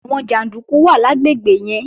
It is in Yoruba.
Àwọn jàndúkú wà lágbègbè yẹn